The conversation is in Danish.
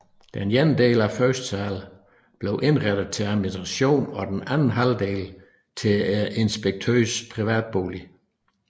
Den ene halvdel af førstesalen blev indrettet til administration og den anden halvdel til inspektørens privatbolig